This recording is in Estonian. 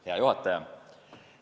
Hea juhataja!